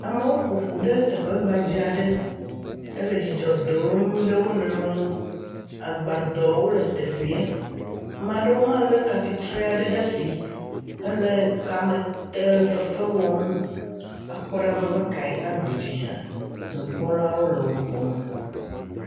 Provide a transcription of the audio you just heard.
Amewo ƒoƒu ɖe teƒe gbadza aɖe hele dzidzɔ dom ɖe wo nɔewo ŋu, agbadɔwo le teƒee ame aɖewo hã lé ka titri aɖewo ɖe asi, hele kamete fefe wɔm akpɔ ɖa be ame kae aɖu dzi hã nu kpɔlawo le nu kpɔm.